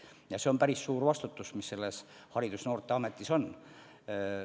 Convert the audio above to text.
Ja see on päris suur vastutus, mis Haridus- ja Noorteametis on.